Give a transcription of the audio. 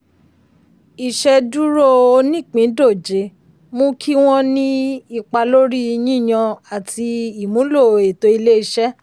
ìṣeduro onípìndòjé mú kí wọ́n ní ipa lórí yíyàn àti ìmúlò ètò ilé-iṣẹ́.